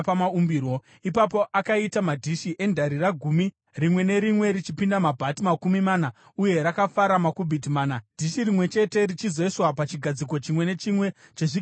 Ipapo akaita madhishi endarira gumi, rimwe nerimwe richipinda mabhati makumi mana uye rakafara makubhiti mana, dhishi rimwe chete richizoiswa pachigadziko chimwe nechimwe chezvigadziko gumi.